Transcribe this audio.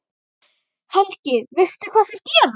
Helga: Veistu hvað þeir gera?